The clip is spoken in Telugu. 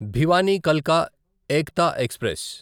భివానీ కల్కా ఎక్తా ఎక్స్ప్రెస్